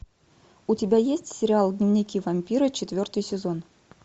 у тебя есть сериал дневники вампира четвертый сезон